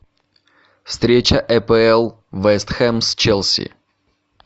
встреча эпл вест хэм с челси